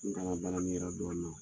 N kalan baaranin yɛrɛ dɔɔnin na.